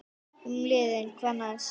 Um liðið: Hvað næst?